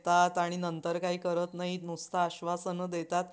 अश्या कितीतरी पक्ष्यांचे थवेचथवे चित्रविचित्र कलकलत परतु लागले होते.